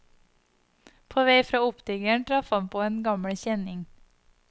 På vei fra optikeren traff han på en gammel kjenning.